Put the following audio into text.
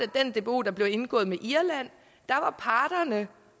den dbo der blev indgået med irland var parterne